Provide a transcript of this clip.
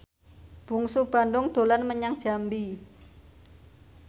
Bungsu Bandung dolan menyang Jambi